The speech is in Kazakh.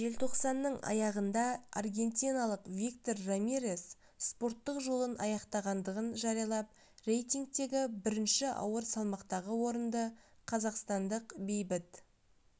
желтоқсанның аяғында аргентиналық виктор рамирес спорттық жолын аяқтағандығын жариялап рейтингтегі бірінші ауыр салмақтағы орынды қазақстандық бейбіт